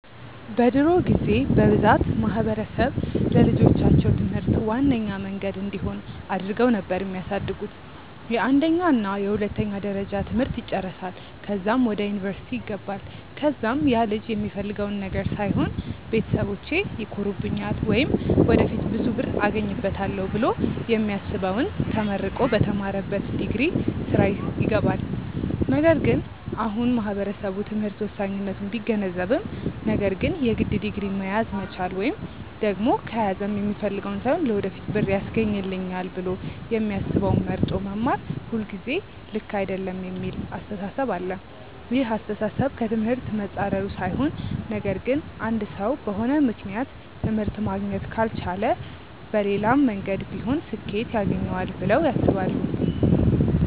በድሮ ጊዜ በብዛት ማህበረሰብ ለልጆቻቸው ትምህርት ዋነኛ መንገድ እንዲሆን አድርገው ነበር የሚያሳድጉት፤ የአንደኛ እና የሁለተኛ ደረጃ ትምህርት ይጨረሳል ከዛም ወደ ዩኒቨርስቲ ይገባል ከዛም ያልጅ የሚፈልገውን ነገር ሳይሆን ቤተሰቢቼ ይኮሩብኛል ወይም ወደፊት ብዙ ብር አገኝበታለው ብሎ የሚያስበውን ተመርቆ በተማረበት ዲግሪ ስራ ይገባል። ነገር ግን አሁን አሁን ማህበረሰቡ ትምህርት ወሳኝነቱን ቢገነዘብም ነገር ግን የግድ ዲግሪ መያዝ መቻል ወይም ደግም ከያዘም የሚፈልገውን ሳይሆን ለወደፊት ብር ያስገኘኛል ብሎ የሚያስበውን መርጦ መማር ሁልጊዜ ልክ አይደለም የሚል አስተሳሰብ አለ። ይህ አስተሳሰብ ከ ትምህርት መፃረሩ ሳይሆን ነገር ግን አንድ ሰው በሆነ ምክንያት ትምህርት ማግኘት ካልቻለ መሌላም መንገድ ቢሆን ስኬት ያገኘዋል ብለው ያስባሉ።